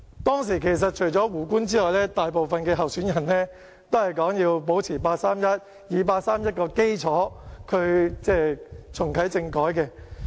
當時除了胡官之外，大部分候選人都說要維持八三一決定，要以八三一決定作基礎重啟政改。